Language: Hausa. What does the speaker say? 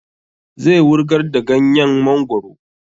Zai wurgar da ganyen mongoro